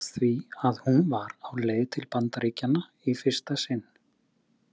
Af því að hún var á leið til Bandaríkjanna í fyrsta sinn.